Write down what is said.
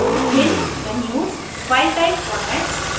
भिन्न menus file type formats